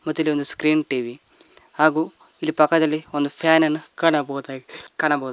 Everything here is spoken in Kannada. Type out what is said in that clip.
ಮತ್ತ್ ಇಲ್ಲೊಂದು ಸ್ಕ್ರೀನ್ ಟಿ_ವಿ ಹಾಗು ಇಲ್ಲಿ ಪಕ್ಕದಲಿ ಒಂದು ಫ್ಯಾನ್ ನನ್ನ ಕಾಣಬಹುದಾಗಿ ಕಾಣಬಹು--